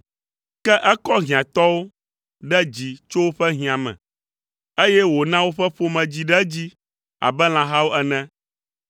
Ke ekɔ hiãtɔwo ɖe dzi tso woƒe hiã me, eye wòna woƒe ƒome dzi ɖe edzi abe lãhawo ene.